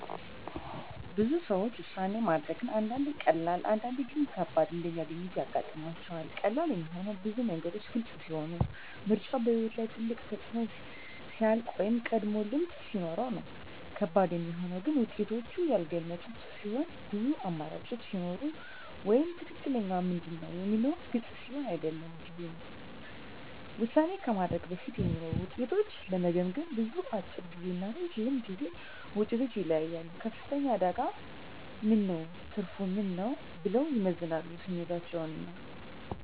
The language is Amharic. ብዙ ሰዎች ውሳኔ ማድረግን አንዳንዴ ቀላል፣ አንዳንዴ ግን ከባድ እንደሚያገኙት ያጋጥማቸዋል። ቀላል የሚሆነው ብዙ ነገሮች ግልጽ ሲሆኑ፣ ምርጫው በሕይወት ላይ ትልቅ ተፅዕኖ ሲያልቅ ወይም ቀድሞ ልምድ ሲኖር ነው። ከባድ የሚሆነው ግን ውጤቶቹ ያልተገመቱ ሲሆኑ፣ ብዙ አማራጮች ሲኖሩ ወይም “ትክክለኛው ምንድን ነው?” የሚለው ግልጽ ሲሆን አይደለም ጊዜ ነው። ውሳኔ ከማድረግ በፊት የሚኖሩ ውጤቶችን ለመገመገም፣ ብዙዎች፦ አጭር ጊዜ እና ረጅም ጊዜ ውጤቶችን ይለያያሉ “ከፍተኛ አደጋ ምን ነው? ትርፉ ምን ነው?” ብለው ይመዝናሉ ስሜታቸውን እና